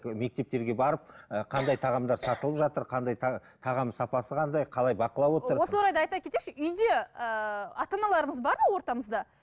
ы мектептерге барып ы қандай тағамдар сатылып жатыр қандай тағам сапасы қандай қалай бақылап отыр осы орайда айта кетейікші үйде ііі ата аналарымыз бар ма ортамызда